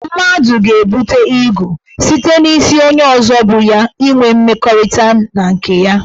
Mmadụ ga-ebute igwu site n' isi onye ọzọ bu ya inwe mmekọrịta na nke ya.